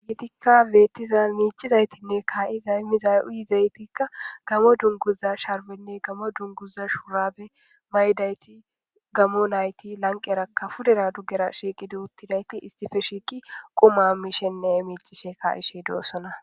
Ha beettiza miic'izaytinne kaayizay miza'izaytikka gamo dunguza sharbenne gamo dunguza shuurabe maaydayti gamo nayti lanqerakka fudera duggera shiiqidu uttidayti istife shiiqi quma mishenne miicishe ka'ishey dosona